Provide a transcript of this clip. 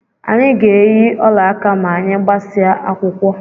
Anyị ga-eyi olaaka ma anyị gbasịa akwụkwọ